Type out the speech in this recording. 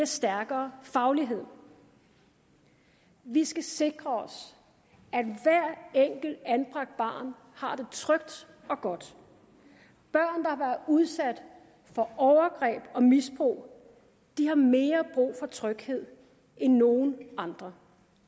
stærkere faglighed vi skal sikre os at hvert enkelt anbragt barn har det trygt og godt børn der har udsat for overgreb og misbrug har mere brug for tryghed end nogen andre